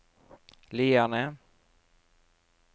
Lierne